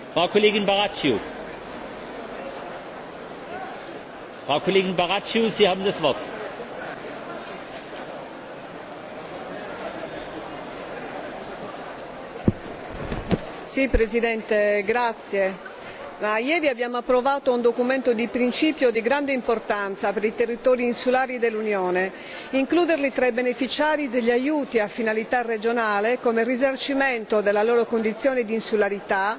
Signor Presidente, onorevoli colleghi, ieri abbiamo approvato un documento di principio di grande importanza per i territori insulari dell'Unione. Includerli tra i beneficiari degli aiuti a finalità regionale come risarcimento della loro condizione di insularità, sottraendoli alla discrezionalità dei rispettivi Stati membri, è un passo che riavvicina le isole